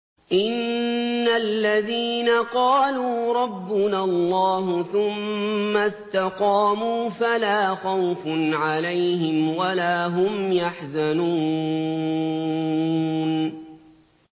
إِنَّ الَّذِينَ قَالُوا رَبُّنَا اللَّهُ ثُمَّ اسْتَقَامُوا فَلَا خَوْفٌ عَلَيْهِمْ وَلَا هُمْ يَحْزَنُونَ